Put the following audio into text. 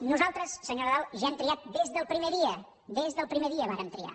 nosaltres senyor nadal ja hem triat des del primer dia des del primer dia vàrem triar